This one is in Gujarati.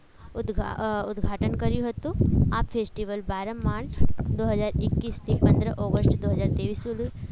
ઉદઘાટન કર્યું હતું આ ફેસ્ટિવલ બાર માર્ચ ડો હજાર એક્કઈસ થી બે હજાર ટેઇસ સુધી